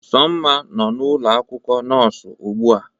Somma nọ n'ụlọ akwụkwọ nọọsụ ugbu a